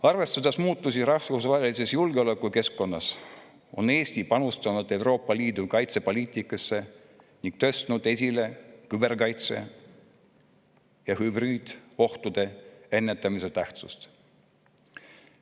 Arvestades muutusi rahvusvahelises julgeolekukeskkonnas, on Eesti panustanud Euroopa Liidu kaitsepoliitikasse ning tõstnud esile hübriidohtude ennetamise ja küberkaitse tähtsust.